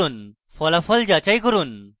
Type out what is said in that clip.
ফলাফল যাচাই করুন